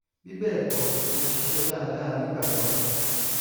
bí bẹ́ẹ̀ kọ́ mo ti ṣiṣẹ́ dáadáa nígbà kan rí